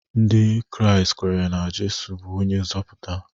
Ndị Kraịst kweere na Jizọs bụ onye nzọpụta.